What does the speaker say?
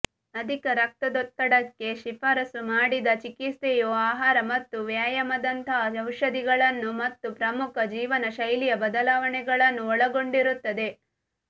ಅಧಿಕ ರಕ್ತದೊತ್ತಡಕ್ಕೆ ಶಿಫಾರಸು ಮಾಡಿದ ಚಿಕಿತ್ಸೆಯು ಆಹಾರ ಮತ್ತು ವ್ಯಾಯಾಮದಂತಹ ಔಷಧಿಗಳನ್ನು ಮತ್ತು ಪ್ರಮುಖ ಜೀವನಶೈಲಿಯ ಬದಲಾವಣೆಗಳನ್ನು ಒಳಗೊಂಡಿರುತ್ತದೆ